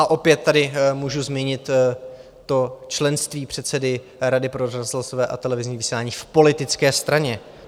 A opět tady můžu zmínit to členství předsedy Rady pro rozhlasové a televizní vysílání - v politické straně.